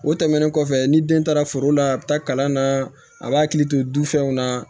O tɛmɛnen kɔfɛ ni den taara foro la a bɛ taa kalan na a b'a hakili to du fɛnw na